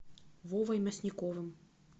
вовой мясниковым